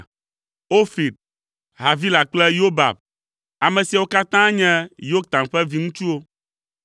Ofir, Havila kple Yobab. Ame siawo katã nye Yoktan ƒe viŋutsuwo.